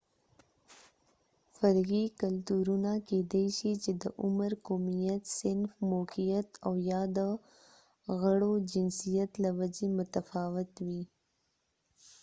فرعي کلتورونه کیدای شي د عمر، قومیت، صنف، موقعیت او/ یا د غړو جنسیت له وجې متفاوت وي